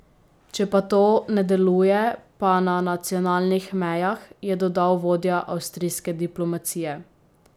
Če pa to ne deluje, pa na nacionalnih mejah, je dodal vodja avstrijske diplomacije.